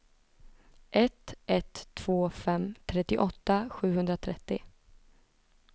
ett ett två fem trettioåtta sjuhundratrettio